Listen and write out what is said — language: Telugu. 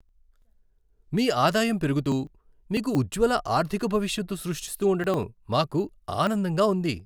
మీ ఆదాయం పెరుగుతూ, మీకు ఉజ్జ్వల ఆర్థిక భవిష్యత్తు సృష్టిస్తూ ఉండడం మాకు ఆనందంగా ఉంది!